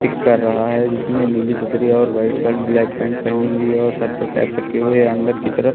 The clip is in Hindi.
कर रहा है जिसने नीली सदरी और वाइट शल्ट ब्लैक पैंट पहनी हुई है और सर पर कैप रखे हुए है अंदर की तरफ--